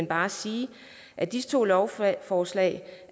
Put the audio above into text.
bare sige at disse to lovforslag